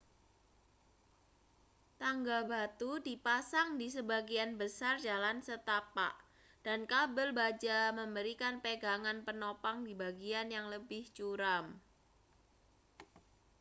tangga batu dipasang di sebagian besar jalan setapak dan kabel baja memberikan pegangan penopang di bagian yang lebih curam